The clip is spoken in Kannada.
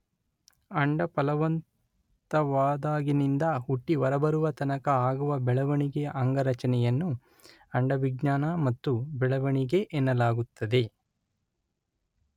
ಅಂಡ ಫಲವಂತವಾದಾಗಿನಿಂದ ಹುಟ್ಟಿ ಹೊರಬರುವ ತನಕ ಆಗುವ ಬೆಳವಣಿಗೆಯ ಅಂಗರಚನೆಯನ್ನು ಅಂಡವಿಜ್ಞಾನ ಮತ್ತು ಬೆಳವಣಿಗೆ ಎನ್ನಲಾಗುತ್ತದೆ